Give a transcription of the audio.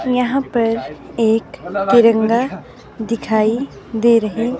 यहां पर एक तिरंगा दिखाई दे रही--